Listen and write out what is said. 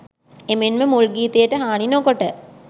එමෙන්ම මුල් ගීතයට හානි නොකොට